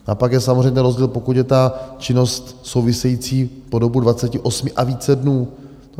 A pak je samozřejmě rozdíl, pokud je ta činnost související po dobu 28 a více dnů.